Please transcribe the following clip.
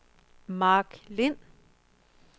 Mark Lind